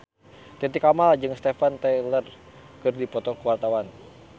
Titi Kamal jeung Steven Tyler keur dipoto ku wartawan